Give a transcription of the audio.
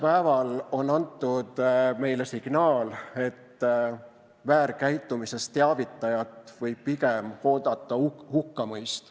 Praegu on antud meile signaal, et väärkäitumisest teavitajat võib pigem oodata hukkamõist.